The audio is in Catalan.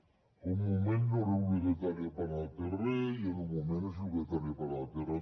fa un moment no era obligatòria per anar pel carrer i en un moment és obligatòria per anar pel carrer